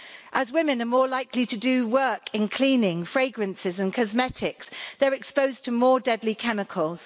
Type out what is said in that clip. As women are more likely to do work in cleaning, fragrances and cosmetics, they are exposed to more deadly chemicals.